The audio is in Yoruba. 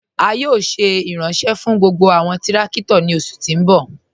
A yóò ṣé iranṣẹ̀ fún gbogbo awọn tìrakito ni oṣù ti n bọ̀.